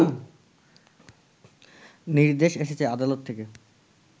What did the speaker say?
নির্দেশ এসেছে আদালত থেকে